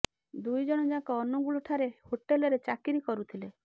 ଦୁଇ ଜଣ ଯାକ ଅନୁଗୁଳ ଠାରେ ହୋଟେଲରେ ଚାକିରୀ କରୁଥିଲେ